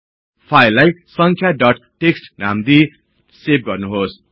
फाईललाई संख्या dot TXT नाम दिई सेव गर्नुहोस्